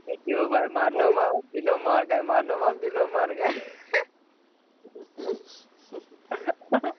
એક જ જેવુ ભાઈ માર નામ આવે ને પેલો માર ખાઈ માર નામ આવે ને પેલો માર ખાઈ